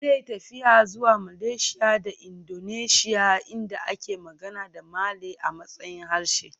Zai yi tafiya zuwa Malaysia da Indonesia inda ake magana da Malay a matsayin harshe